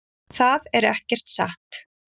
Það er ekkert satt.